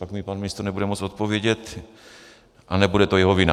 Pak mi pan ministr nebude moci odpovědět a nebude to jeho vina.